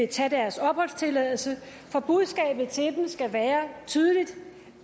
tage deres opholdstilladelse for budskabet til dem skal være tydeligt